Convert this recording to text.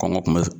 Kɔngɔ tun bɛ